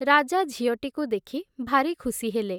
ରାଜା ଝିଅଟିକୁ ଦେଖି, ଭାରି ଖୁସି ହେଲେ ।